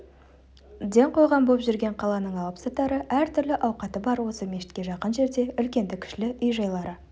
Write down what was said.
ден қойған боп жүрген қаланың алыпсатары әртүрлі ауқаты бар осы мешітке жақын жерде үлкенді-кішілі үй-жайлары